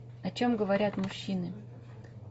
о чем говорят мужчины